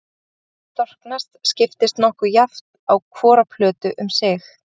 Bergið sem storknar skiptist nokkuð jafnt á hvora plötu um sig.